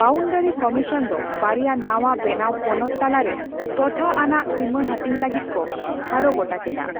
Boundary commission ᱫᱚ ᱵᱟᱭᱨᱟ ᱱᱟᱣᱟ ᱵᱮᱱᱟᱣ ᱯᱚᱱᱚᱛ ᱛᱟᱞᱟᱨᱮ ᱴᱚᱴᱷᱟ ᱟᱱᱟᱜ ᱥᱤᱢᱟᱹᱦᱟᱹᱴᱤᱧ ᱞᱟᱹᱜᱤᱫ ᱠᱚ ᱴᱷᱟᱲᱚᱜᱚᱴᱟ ᱠᱮᱫᱟ ᱾